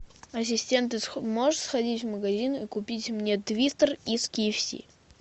ассистент можешь сходить в магазин и купить мне твистер из ки эф си